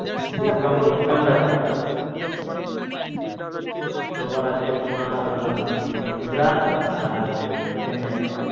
discount discount আছে শুক্রবার আছে তোমার উম গুজরাট আর উম চেন্নাই